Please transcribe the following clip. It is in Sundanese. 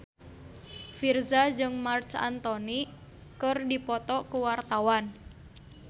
Virzha jeung Marc Anthony keur dipoto ku wartawan